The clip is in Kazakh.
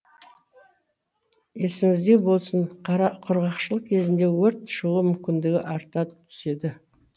есіңізде болсын құрғақшылық кезінде өрт шығу мүмкіндігі арта түседі